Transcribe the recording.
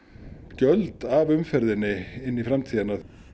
gjöld af umferðinni inn í framtíðina